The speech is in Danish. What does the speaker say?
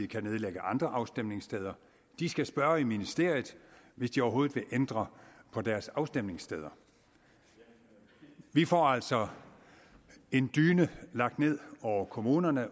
kan nedlægge andre afstemningssteder de skal spørge i ministeriet hvis de overhovedet vil ændre på deres afstemningssteder vi får altså en dyne lagt ned over kommunerne